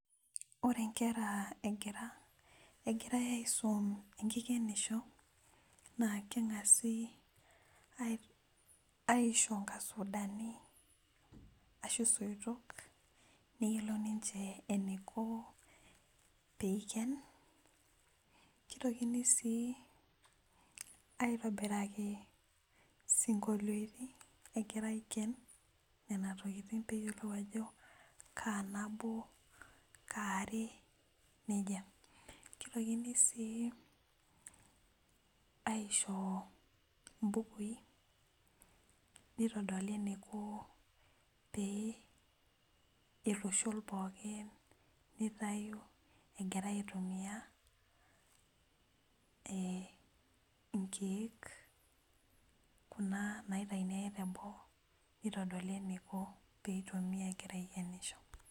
ore inkera egirai asum enkikeniso naa keng'asi aisho inkasudani , ashu isoitok , neyiolou niche eniko pee eiken kitokini sii aitobiraki isinkoloitin egira aiken nenatokitin ajo kaa nabo kaa are nejia , kitokini sii aisho ibukui nitodoli eniko pee itushu pooki nitayu egira aitumiya ee nkeek kuna naitayuni ake teboo nitodoli eniko pee itumiya egira aikenusho.